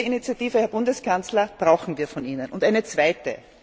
Diese Initiative, Herr Bundeskanzler, brauchen wir von Ihnen. Und auch eine zweite.